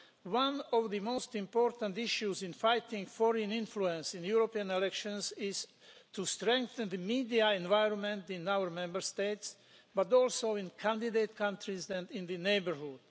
One of the most important issues in fighting foreign influence in European elections is to strengthen the media environment in our Member States, but also in candidate countries and in the neighbourhood.